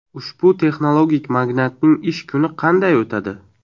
Ushbu texnologik magnatning ish kuni qanday o‘tadi?